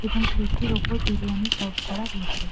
এবং প্লেট -টির ওপর বিরিয়ানি সার্ভ করা হয়েছে।